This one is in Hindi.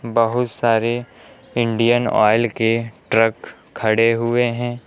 बहुत सारे इंडियन ऑयल के ट्रक खड़े हुए हैं।